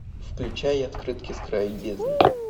включай открытки с края бездны